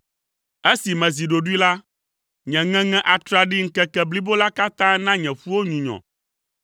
Esi mezi ɖoɖoe la, nye ŋeŋe atraɖii ŋkeke blibo la katã na nye ƒuwo nyunyɔ.